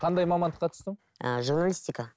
қандай мамандыққа түстің ііі журналистика